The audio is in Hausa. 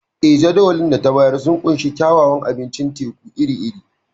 Eh, Jadawalin da ta bayar sun ƙunshi kyawawan abincin teku iri-iri.